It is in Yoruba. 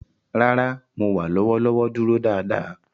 Rara, Mo wa lọwọlọwọ duro daadaa.